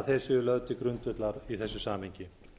að þau séu lögð til grundvallar í þessu samhengi